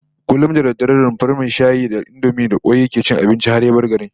Kullum da dare a rumfar mai shayi da indomi da kwai yake cin abinci har ya bar garin